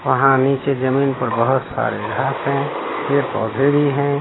वहाँ नीचे जमीन पर बहुत सारे घांस है पेड़-पौधे भी है।